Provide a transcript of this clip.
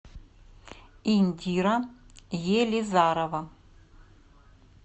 индира елизарова